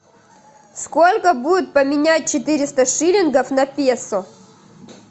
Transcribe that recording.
сколько будет поменять четыреста шиллингов на песо